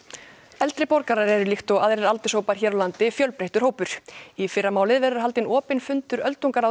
eldri borgarar eru líkt og aðrir aldurshópar hér á landi fjölbreyttur hópur í fyrramálið verður haldinn opinn fundur öldungaráðs